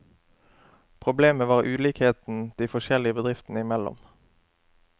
Problemet var ulikheten de forskjellige bedriftene imellom.